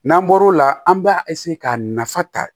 N'an bɔr'o la an b'a k'a nafa ta